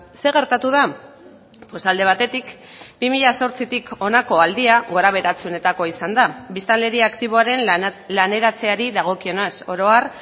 zer gertatu da pues alde batetik bi mila zortzitik honako aldia gorabeheratsuenetakoa izan da biztanleria aktiboaren laneratzeari dagokionez oro har